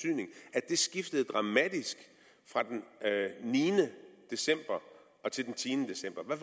at det skiftede dramatisk fra den niende december til den tiende december hvad